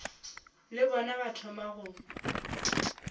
le bona ba thoma go